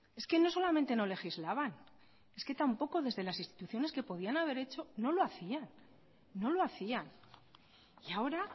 es que no solamente no legislaban es que tampoco desde las instituciones que podían haber hecho no lo hacía no lo hacían y ahora